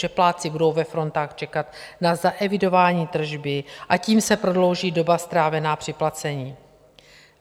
Že plátci budou ve frontách čekat na zaevidování tržby, a tím se prodlouží doba strávena při placení.